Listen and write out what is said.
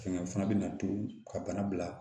Fɛngɛ fana bɛ na to ka bana bila